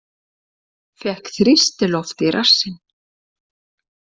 Fékk þrýstiloft í rassinn